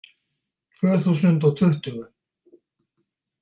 Tvö þúsund og tuttugu